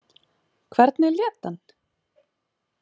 Hvernig lét hann?